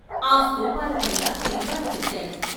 ఆ స్థూపాలపైన శిల్పాలు చెక్కారు.